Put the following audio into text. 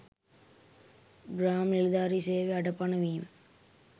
ග්‍රාම නිලධාරී සේවය අඩපණ වීම